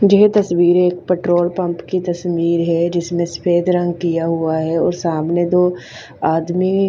ये तस्विर्रे एक पेट्रोल पम्प की तस्वीर है जिसमे सफेद रंग किया हुआ है और सामने दो आदमी--